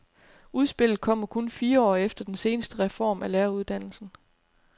Udspillet kommer kun fire år efter den seneste reform af læreruddannelsen.